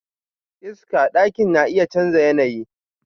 Iska daki na iya chanza yanayi.